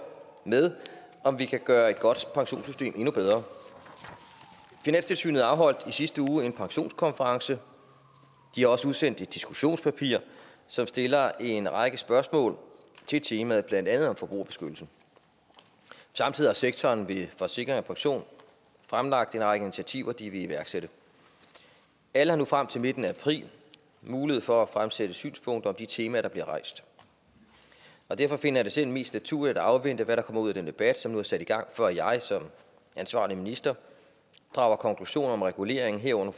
med om vi kan gøre et godt pensionssystem endnu bedre finanstilsynet afholdt i sidste uge en pensionskonference de har også udsendt et diskussionspapir som stiller en række spørgsmål til temaet blandt andet om forbrugerbeskyttelse samtidig har sektoren ved forsikring pension fremlagt en række initiativer de vil iværksætte alle har nu frem til midten af april mulighed for at fremsætte synspunkter om de temaer der bliver rejst derfor finder jeg det selv mest naturligt at afvente hvad der kommer ud af den debat som nu er sat i gang før jeg som ansvarlig minister drager konklusion om regulering herunder